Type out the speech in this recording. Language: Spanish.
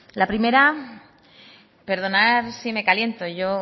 la primera perdonar si me caliento yo